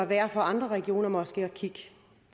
værd for andre regioner måske at kigge